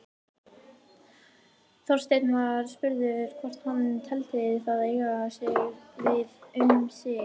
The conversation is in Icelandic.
Þorsteinn var spurður hvort hann teldi það eiga við um sig.